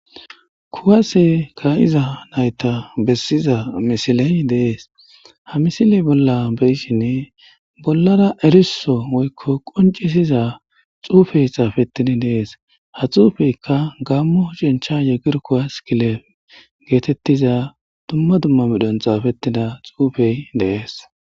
Kuwase ka'iza nayta besiza misiley dees ha misile bbe'shin bollara eriso woyko qonc'isiza xuufey immetida dees ha xuufeta gamo ethiopia yechencha gir kuwase like giza duma duma medhon xaafetida xuufey dees.